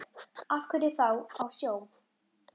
Af hverju þá á sjó?